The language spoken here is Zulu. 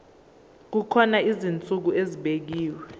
kukhona izinsuku ezibekiwe